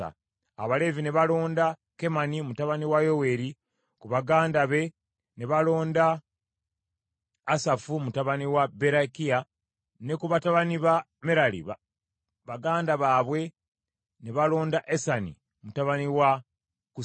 Abaleevi ne balonda Kemani mutabani wa Yoweeri, ku baganda be ne balonda Asafu mutabani wa Berekiya, ne ku batabani ba Merali, baganda baabwe, ne balonda Esani mutabani wa Kusaya;